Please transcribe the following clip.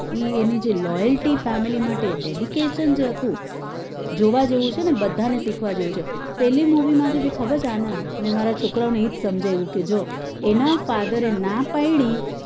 એ જે એની loyalty family માટે dedication જે હતું જોવા જેવું છે ને જે બધા ને શીખવા જેવું છે ને પેલી movie માંથી બી ખબર છે આનદ મેં મારા છોકરાઓ ને એ જ સમજાવ્યું તું કે જો એના father એ ના પડી